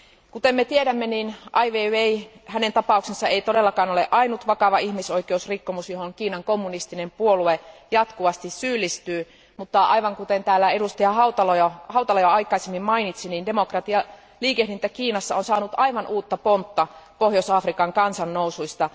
Kuten tiedämme, Ai Weiwein tapaus ei todellakaan ole ainoa vakava ihmisoikeusrikkomus, joihin Kiinan kommunistinen puolue jatkuvasti syyllistyy, mutta aivan kuten täällä edustaja Hautala jo aikaisemmin mainitsi, demokratialiikehdintä Kiinassa on saanut aivan uutta pontta Pohjois Afrikan kansannousuista.